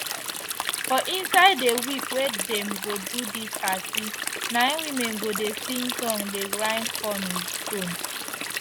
for inside the week wey dem go do dis party na im women go dey sing song dey grind corn with stone